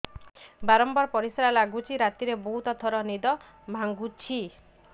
ବାରମ୍ବାର ପରିଶ୍ରା ଲାଗୁଚି ରାତିରେ ବହୁତ ଥର ନିଦ ଭାଙ୍ଗୁଛି